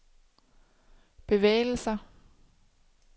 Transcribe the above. bevægelser